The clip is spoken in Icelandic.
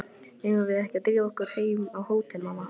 Eigum við ekki að drífa okkur heim á hótel, mamma?